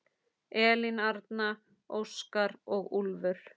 Elín Arna, Óskar og Úlfur.